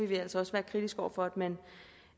vi altså også være kritiske over for at man